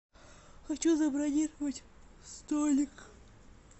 хочу забронировать столик